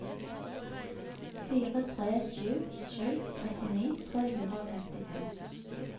fire tre sju sju trettini tre hundre og femtifem